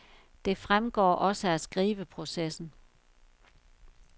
Det fremgår også af skriveprocessen.